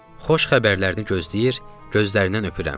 Xoş xəbərlərini gözləyir, gözlərindən öpürəm.